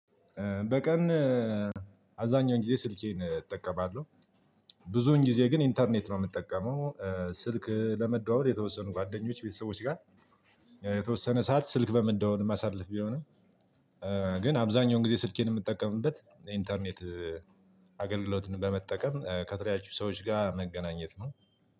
በቀን አብዛኛው ጊዜ ስልኬን እጠቀማለሁ ብዙን ጊዜ ግን ኢንተርኔት ነው ምጠቀመው። ስልክ ለመደዋወል የተወሰኑ ጓደኞች ቤተሰቦች ጋር የተወሰነ ሰዓት ስልክ በመደዋወል ማሳለፍ ቢሆንም። ግን አብዛኛውን ጊዜ ስልኬን የምጠቀምበት ኢንተርኔት አገልግሎትን በመጠቀም ከተለያዩ ሰዎች ጋር መገናኘት ነው።